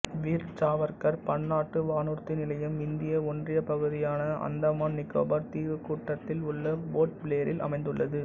வீர் சாவர்க்கர் பன்னாட்டு வானூர்தி நிலையம் இந்திய ஒன்றியப் பகுதியான அந்தமான் நிக்கோபார் தீவுக்கூட்டத்தில் உள்ள போர்ட் பிளேரில் அமைந்துள்ளது